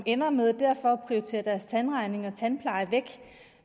ender med at prioritere deres tandpleje væk